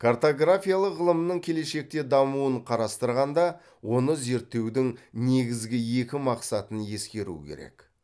картографиялық ғылымның келешекте дамуын қарастырғанда оны зерттеудің негізгі екі мақсатын ескеру керек